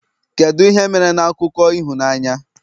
kedu ihe mere na akụkọ ịhụnanya?